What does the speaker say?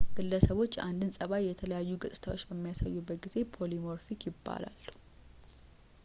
ግለሰቦች የአንድን ፀባይ የተለያዩ ገፅታዎች በሚያሳዩበት ጊዜ polymorphic ይባላሉ